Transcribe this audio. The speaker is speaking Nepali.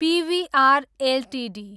PVR Ltd